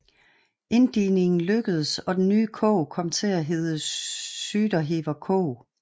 Inddigningen lykkdes og den nye kog kom til at hede Syderhever Kog